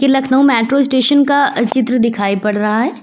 Lucknow metro station का चित्र दिखाई पड़ रहा है।